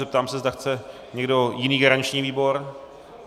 Zeptám se, zda chce někdo jiný garanční výbor?